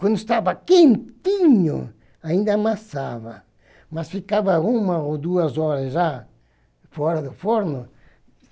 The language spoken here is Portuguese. Quando estava quentinho, ainda amassava, mas ficava uma ou duas horas já fora do forno.